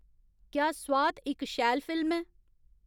क्या स्वात इक शैल फिल्म ऐ